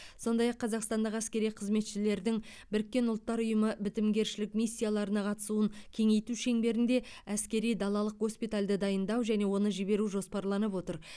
сондай ақ қазақстандық әскери қызметшілердің біріккен ұлттар ұйымы бітімгершілік миссияларына қатысуын кеңейту шеңберінде әскери далалық госпитальді дайындау және оны жіберу жоспарланып отыр